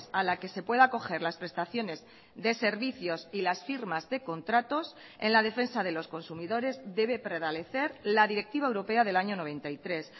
a la que se pueda acoger las prestaciones de servicios y las firmas de contratos en la defensa de los consumidores debe prevalecer la directiva europea del año noventa y tres